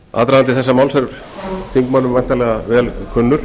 aðdragandi þessa máls er þingmönnum væntanlega vel kunnur